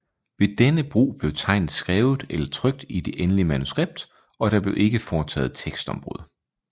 Ved denne brug blev tegnet skrevet eller trykt i det endelige manuskript og der blev ikke foretaget tekstombrud